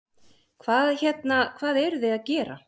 Hvað hérna, hvað eruð þið að gera?